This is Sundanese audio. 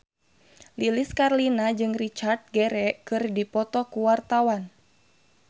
Lilis Karlina jeung Richard Gere keur dipoto ku wartawan